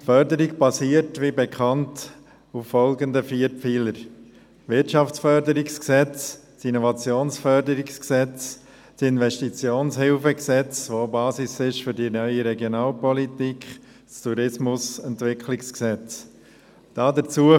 Die Förderung basiert, wie bekannt, auf folgenden vier Pfeilern: Wirtschaftsförderungsgesetz (WFG), Innovationsförderungsgesetz (IFG), das Kantonale Gesetz über Investitionshilfe für Berggebiete (KIHG), das Basis für die neue Regionalpolitik ist, und das Tourismusentwicklungsgesetz (TEG).